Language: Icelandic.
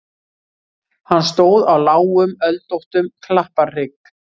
Hann stóð á lágum öldóttum klapparhrygg.